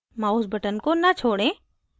mouse button को न छोड़ें